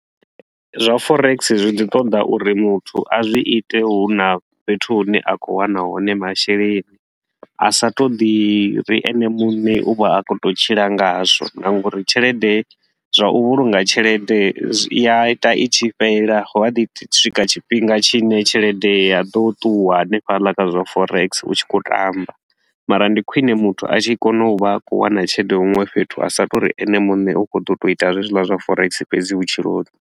Zwa forex zwi ḓi ṱoḓa uri muthu a zwi ite hu na fhethu hune a khou wana hone masheleni, a sa to ḓi ri ene muṋe u vha a khou tou tshila ngazwo. Na nga uri tshelede zwa u vhulunga tshelede zwi ya ita i tshi fhela hu a ḓi swika tshifhinga tshi ne tshelede ya ḓo ṱuwa hanefhaḽa kha zwa forex u tshi khou tamba. Mara ndi khwiṋe muthu a tshi kona u vha a khou wana tshelede huṅwe fhethu a sa to uri ene muṋe u khou ḓo tou ita zwezwila zwa forex fhedzi vhutshiloni.